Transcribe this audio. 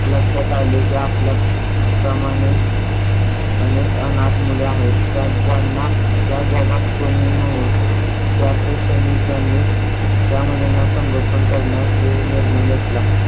लक्षात आले की आपल्या प्रमाणे अनेक अनाथ मुली आहेत त्या ज्यांना या जगात कोणीही नाही चार पैशाने त्या मुलींना संगोपन करण्याचे निर्णय घेतला.